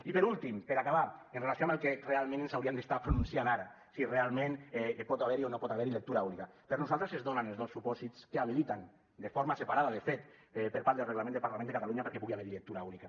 i per últim per acabar en relació amb el que realment ens hauríem d’estar pronunciant ara si realment pot haver hi o no pot haver hi lectura única per nosaltres es donen els dos supòsits que habiliten de forma separada de fet per part del reglament de parlament de catalunya perquè pugui haver hi lectura única